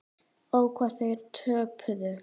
Ó, hvað þeir töpuðu.